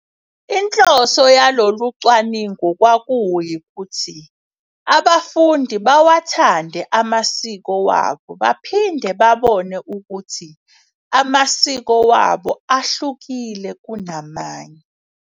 Inhloso yalolu cwaningo kwaku yikuthi abafundi bawathande amasiko wabo baphinde babone ukuthi amasiko wabo ahlukile kuna manye.